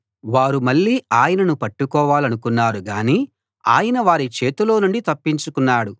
వారు మళ్ళీ ఆయనను పట్టుకోవాలనుకున్నారు గాని ఆయన వారి చేతిలో నుండి తప్పించుకున్నాడు